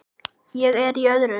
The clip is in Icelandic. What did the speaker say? Ég er í öðru.